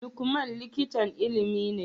Lukman likitan Ilimi ne